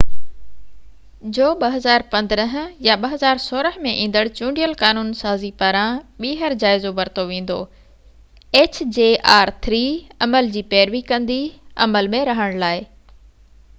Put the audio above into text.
عمل جي پيروي ڪندي عمل ۾ رهڻ لاءِ hjr-3 جو 2015 يا 2016 ۾ ايندڙ چونڊيل قانون سازي پاران ٻيهر جائزو ورتو ويندو